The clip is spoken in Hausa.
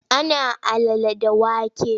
Ana alala da wake.